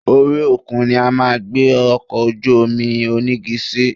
Orí òkun ni a máa gbé ọkọ̀ ojú-omi onígi sí